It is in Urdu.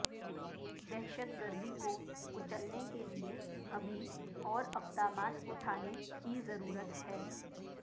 دہشت گردی کو کچلنے کے لیے ابھی اور اقدامات اٹھانے کی ضرورت ہے